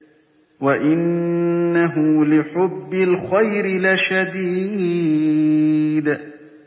وَإِنَّهُ لِحُبِّ الْخَيْرِ لَشَدِيدٌ